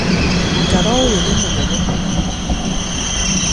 Mũtaro ũyũ nĩ mũnene mũno